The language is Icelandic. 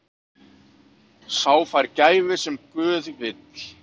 Sá fær gæfu sem guð vill.